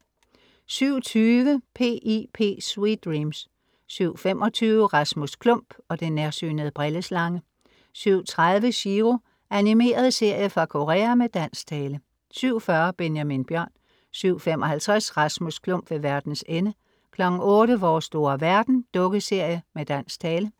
07:20 P.I.P. Sweet dreams 07:25 Rasmus Klump og den nærsynede brilleslange 07:30 Chiro. Animeret serie fra Korea med dansk tale 07:40 Benjamin Bjørn 07:55 Rasmus Klump ved verdens ende 08:00 Vores store verden. Dukkeserie med dansk tale